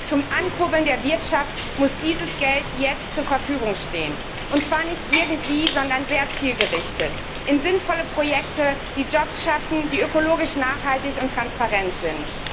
Zum Ankurbeln der Wirtschaft muss dieses Geld jetzt zur Verfügung stehen, und zwar nicht irgendwie, sondern sehr zielgerichtet, für sinnvolle Projekte, die Jobs schaffen, die ökologisch nachhaltig und transparent sind.